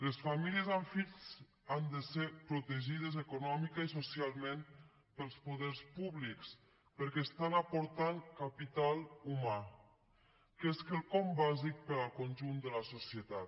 les famílies amb fills han de ser protegides econòmicament i socialment pels poders públics perquè aporten capital humà que és quelcom bàsic per al conjunt de la societat